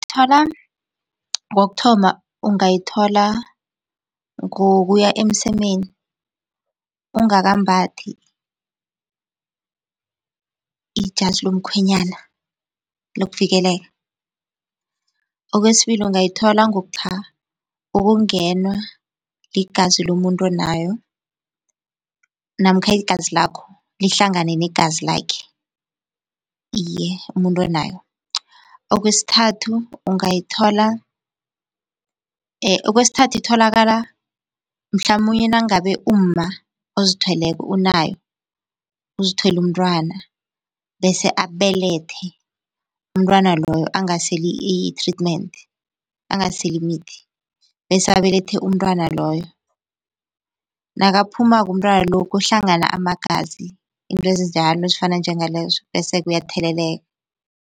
Thola kokuthoma, ungayithola ngokuya emsemeni ungakambathi ijazi lomkhwenyana lokuvikeleka. Okwesibili, ungayithola ngokungenwa ligazi lomuntu onayo namkha igazi lakho lihlangane negazi lakhe, iye umuntu onayo. Okwesithathu, ungayithola okwesithathu, itholakala mhlamunye nangabe umma ozithweleko unayo, uzithwele umntwana, bese abelethe umntwana loyo angaseli i-treatment angaseli imithi, bese abelethe umntwana loyo, nakaphumako umntwana lo kuhlangana amagazi. Izinto ezinjalo, ezifana njengalezo bese-ke uyatheleleka.